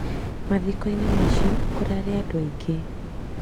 Mathikoĩnĩ macìo kũrarĩ andu aĩngĩ